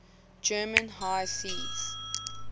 german high seas